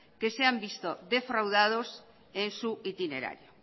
que se han visto defraudados en su itinerario